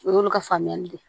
O y'olu ka faamuyali de ye